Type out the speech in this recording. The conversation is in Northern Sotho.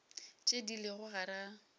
tše di lego gare ga